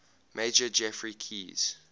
major geoffrey keyes